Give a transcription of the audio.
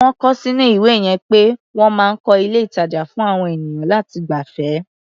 Wọ́n kọ ọ́ sínú ìwé yẹn pé wọ́n máa ń kọ́ ilé-ìtàjà fún àwọn ènìyàn láti gbafẹ́.